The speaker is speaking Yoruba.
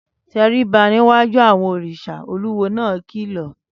Tẹríba níwájú àwọn òrìṣà, olúwo náà kìlọ̀